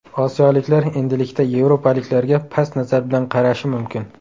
Osiyoliklar endilikda yevropaliklarga past nazar bilan qarashi mumkin”.